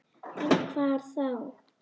En hvar þá?